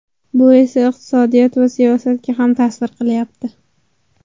Bu esa iqtisodiyot va siyosatga ham ta’sir qilyapti.